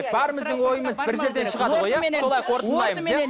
бәріміздің ойымыз бір жерден шығады ғой иә солай қорытындылаймыз иә